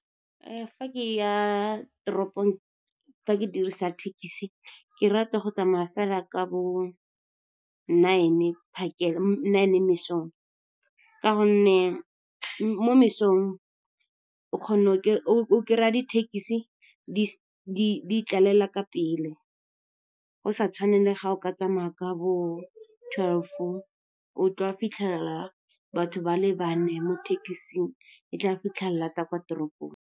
Fa ke ya toropong, fa ke dirisa thekisi, ke rata go tsamaya fela ka bo nine mesong ka gonne mo mesong o kry-a dithekisi di tlalela ka pele, go sa tshwane le ga o ka tsamaya ka bo twelve, o tla fitlhela batho ba le bane mo ditekising, e tla fitlha lata kwa toropong.